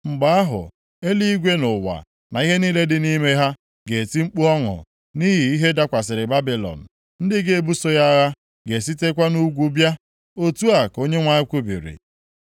mgbe ahụ, eluigwe na ụwa, na ihe niile dị nʼime ha ga-eti mkpu ọṅụ nʼihi ihe dakwasịrị Babilọn. Ndị ga-ebuso ya agha ga-esitekwa nʼugwu bịa.” Otu a ka Onyenwe anyị kwubiri.